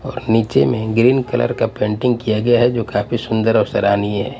और नीचे में ग्रीन कलर का पेंटिंग किया गया है जो काफी सुंदर और सराहनीय है।